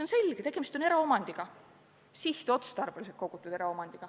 On selge, et tegemist on eraomandiga, sihtotstarbeliselt kogutud eraomandiga.